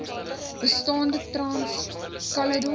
bestaande trans caledon